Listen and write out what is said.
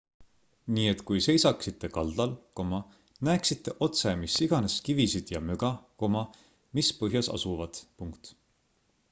nii et kui seisaksite kaldal näeksite otse mis iganes kivisid ja möga mis põhjas asuvad